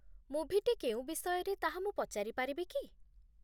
ମୁଭିଟି କେଉଁ ବିଷୟରେ ତାହା ମୁଁ ପଚାରି ପାରିବି କି?